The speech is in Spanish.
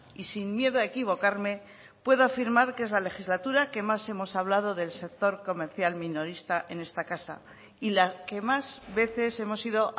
y sin miedo a equivocarme puedo afirmar que es la legislatura que más hemos hablado del sector comercial minorista en esta casa y la que más veces hemos ido